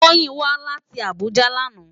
Toyin wá láti Abuja làná